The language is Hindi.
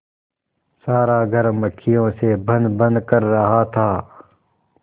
सारा घर मक्खियों से भनभन कर रहा था